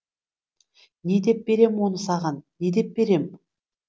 не деп берем оны саған не деп берем